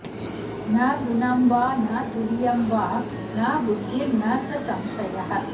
न गुणं वा न तुर्यं वा न बुद्धिर्न च संशयः